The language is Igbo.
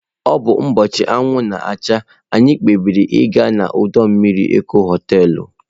Ọ bụ ụbọchị anwụ na-acha, anyị kpebiri ịga na ọdọ mmiri Eko hoteelu.